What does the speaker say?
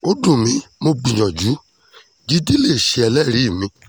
ó dùn mí mo gbìyànjú jíde lè ṣe ẹlẹ́rìí mi